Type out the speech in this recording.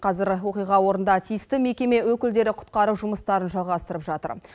қазір оқиға орында тиісті мекеме өкілдері құтқару жұмыстарын жалғастырып жатыр